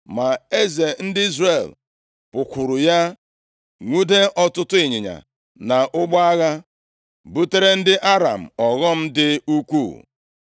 Ma eze ndị Izrel pụkwuru ya, nwude ọtụtụ ịnyịnya na ụgbọ agha, butere ndị Aram ọghọm dị ukwuu.